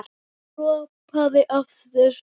Hann ropaði aftur.